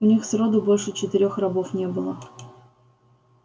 у них сроду больше четырёх рабов не было